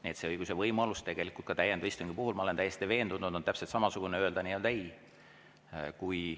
Nii et see õigus ja võimalus ka täiendava istungi puhul, ma olen täiesti veendunud, on täpselt samasugune – öelda ei.